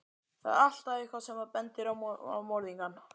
Þar er alltaf EITTHVAÐ sem bendir á morðingjann.